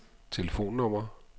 telefonnummer